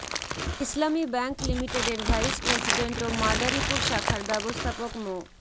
ইসলামী bank লিমিটেডের vice president ও মাদারীপুর শাখার ব্যবস্থাপক মো